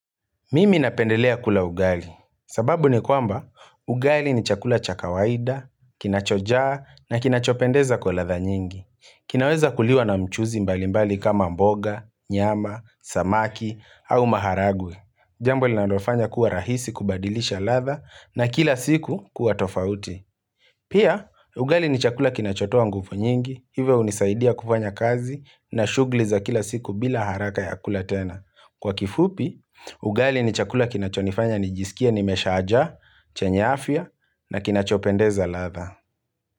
Mimi napendelea kula ugali, sababu ni kwamba ugali ni chakula cha kawaida, kinachojaa na kinachopendeza kwa latha nyingi. Kinaweza kuliwa na mchuzi mbali mbali kama mboga, nyama, samaki au maharagwe. Jambo linalofanya kuwa rahisi kubadilisha latha na kila siku kuwa tofauti. Pia, ugali ni chakula kinacho toa nguvu nyingi, hivyo hunisaidia kufanya kazi na shugli za kila siku bila haraka ya kula tena. Kwa kifupi, ugali ni chakula kinachonifanya, nijisikie, nimeshaja, chenya afya na kinachopendeza latha.